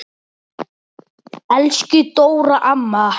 Elsku Dóra amma.